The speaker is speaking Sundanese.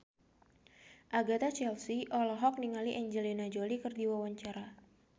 Agatha Chelsea olohok ningali Angelina Jolie keur diwawancara